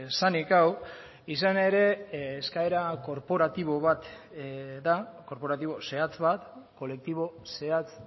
zenik hau izan ere eskaera korporatibo zehatz bat da kolektibo zehatz